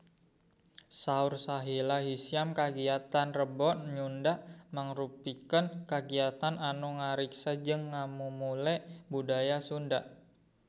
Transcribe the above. Saur Sahila Hisyam kagiatan Rebo Nyunda mangrupikeun kagiatan anu ngariksa jeung ngamumule budaya Sunda